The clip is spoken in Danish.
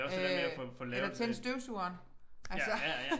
Øh eller tænde støvsugeren altså